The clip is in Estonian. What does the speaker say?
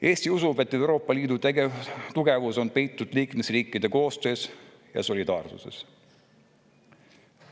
Eesti usub, et Euroopa Liidu tugevus peitub liikmesriikide koostöös ja solidaarsuses.